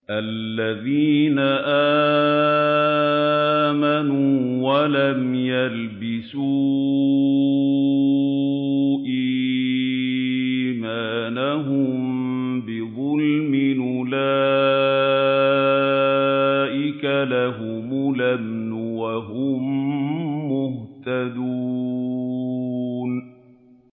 الَّذِينَ آمَنُوا وَلَمْ يَلْبِسُوا إِيمَانَهُم بِظُلْمٍ أُولَٰئِكَ لَهُمُ الْأَمْنُ وَهُم مُّهْتَدُونَ